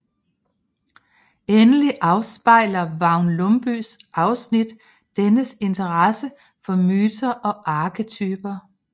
Endelig afspejler Vagn Lundbyes afsnit dennes interesse for myter og arketyper